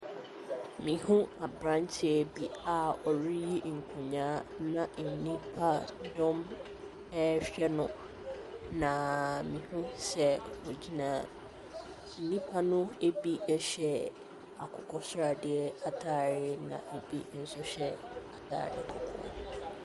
Mehunu aberanteɛ bi a ɔreyi nkonnyaa na nipadɔm rehwɛ no. Na mehunu sɛ ɔgyina nnipa no bi hyɛ akokɔsradeɛ atadeɛ, na ɛbi nso hyɛ atadeɛ kɔkɔɔ.